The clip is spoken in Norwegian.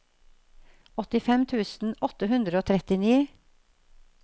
åttifem tusen åtte hundre og trettini